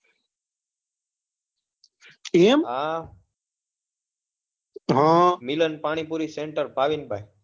એ હા હમ મિલન પાણીપુરી સેન્ટર ભાવિનભાઈ